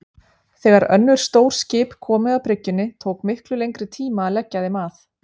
Þegar önnur stór skip komu að bryggjunni tók miklu lengri tíma að leggja þeim að.